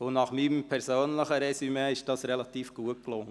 Nach meinem persönlichen Resümee ist dies relativ gut gelungen.